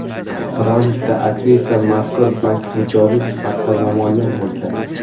Rolikda aktrisa mazkur bank mijozi sifatida namoyon bo‘lgan.